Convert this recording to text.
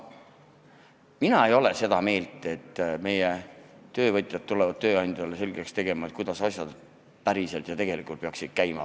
Mina ei ole seda meelt, et meie töövõtjad tulevad tööandjale selgeks tegema, kuidas asjad tegelikult peaksid käima.